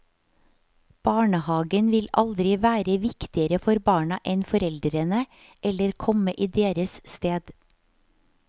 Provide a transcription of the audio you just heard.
Barnehagen vil aldri være viktigere for barna enn foreldrene, eller komme i deres sted.